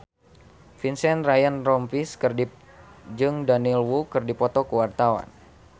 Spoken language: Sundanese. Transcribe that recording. Vincent Ryan Rompies jeung Daniel Wu keur dipoto ku wartawan